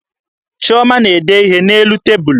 Chioma na-ede ihe n'elu tebulu